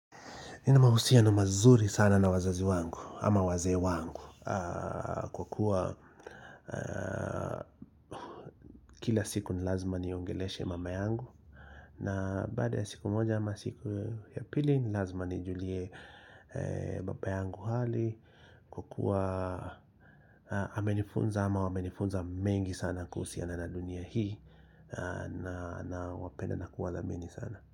Nina mahusiano mazuri sana na wazazi wangu ama wazee wangu kwa kuwa kila siku nilazima niongeleshe mama yangu na baada ya siku moja ama siku ya pili nilazima nijulie baba yangu hali kwa kuwa amenifunza ama wamenifunza mengi sana kuhusiana na dunia hii nawapenda na kuwadhamini sana.